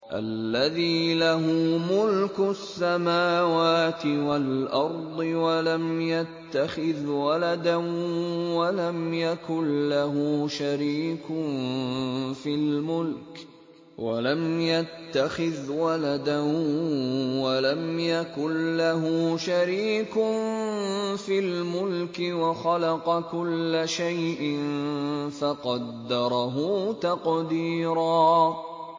الَّذِي لَهُ مُلْكُ السَّمَاوَاتِ وَالْأَرْضِ وَلَمْ يَتَّخِذْ وَلَدًا وَلَمْ يَكُن لَّهُ شَرِيكٌ فِي الْمُلْكِ وَخَلَقَ كُلَّ شَيْءٍ فَقَدَّرَهُ تَقْدِيرًا